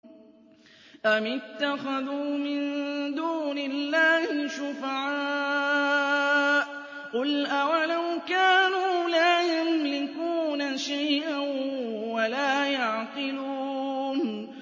أَمِ اتَّخَذُوا مِن دُونِ اللَّهِ شُفَعَاءَ ۚ قُلْ أَوَلَوْ كَانُوا لَا يَمْلِكُونَ شَيْئًا وَلَا يَعْقِلُونَ